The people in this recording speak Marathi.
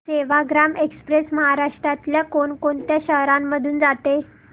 सेवाग्राम एक्स्प्रेस महाराष्ट्रातल्या कोण कोणत्या शहरांमधून जाते